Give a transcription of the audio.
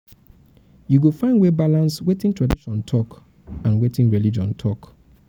you go find way balance wetin tradition talk and wetin religion talk.